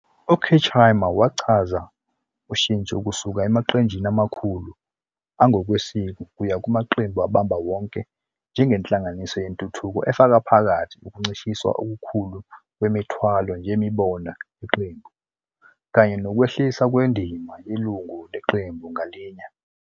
UKirchheimer wachaza ukushintsha kusuka emaqenjini amakhulu angokwesiko kuya kumaqembu abamba wonke njenge nhlanganisela yentuthuko efaka phakathi "ukuncishiswa okukhulu kwemithwalo yemibono yeqembu" kanye "nokwehliswa kwendima yelungu leqembu ngalinye".